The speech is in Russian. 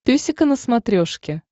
песика на смотрешке